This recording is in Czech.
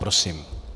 Prosím.